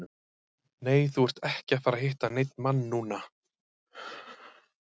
Nei, þú ert ekki að fara að hitta neinn mann núna.